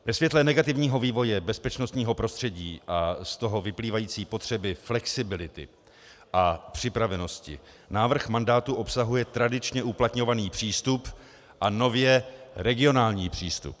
Ve světle negativního vývoje bezpečnostního prostředí a z toho vyplývající potřeby flexibility a připravenosti návrh mandátu obsahuje tradičně uplatňovaný přístup a nově regionální přístup.